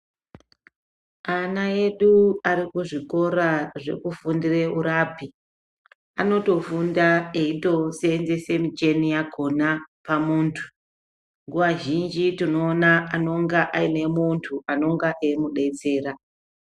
Ana edu ari kuzvikora zvekufundire urapi, anotofunda eyitoseenzese micheni yakona pamuntu. Nguwa zhinji tinoona anonga aine muntu anonga eimudetsera.